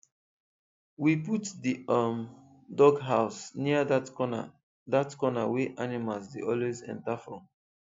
we put the um dog house near that corner that corner wey animals dey always enter from